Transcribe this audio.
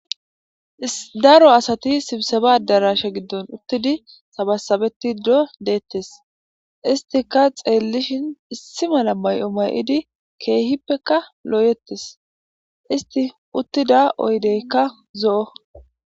Daro asati sibseba darashe giddon uttidi sabasabetido deettes istika xeellishin issimala may'o may'idi keehippeka looyeettes isti uttida oydeykka zo'o.